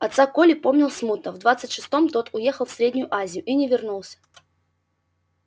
отца коля помнил смутно в двадцать шестом тот уехал в среднюю азию и не вернулся